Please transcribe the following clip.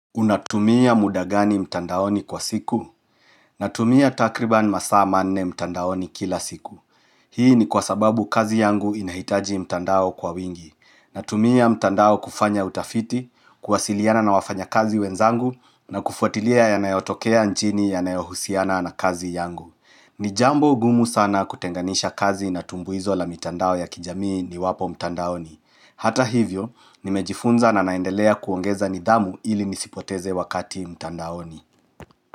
Unatumia mudagani mtandaoni kwa siku? Natumia takriban masaa manne mtandaoni kila siku. Hii ni kwa sababu kazi yangu inahitaji mtandao kwa wingi. Natumia mtandao kufanya utafiti, kuwasiliana na wafanya kazi wenzangu, na kufuatilia ya nayotokea nchini ya nayohusiana na kazi yangu. Ni jambo ngumu sana kutenganisha kazi na tumbuizo la mtandao ya kijamii ni wapo mtandaoni. Hata hivyo, nimejifunza na naendelea kuongeza nidhamu ili nisipoteze wakati mtandaoni.